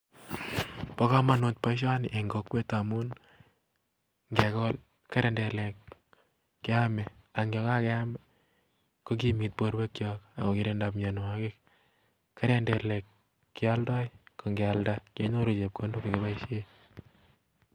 Bo komonut boishoni en kokwet, amun ngekol kirindilek keame, ak yon kakiam kokimekitun birwekchok ak kokirinda mionwogik. Kirindek kioldo ak ingialdaa kenyoru chepkondok chekiboishien